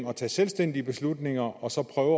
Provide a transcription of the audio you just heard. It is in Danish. at tage selvstændige beslutninger og så prøve